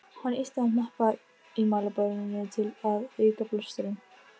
Réttarvörslusjónarmið liggja að baki þessum reglum og einnig fræðileg rök.